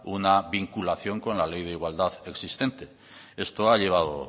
una vinculación con la ley de igualdad existente esto ha llevado